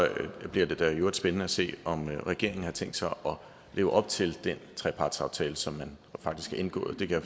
bliver det da i øvrigt spændende at se om regeringen har tænkt sig at leve op til den trepartsaftale som man faktisk har indgået det kan